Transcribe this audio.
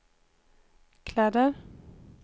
kläder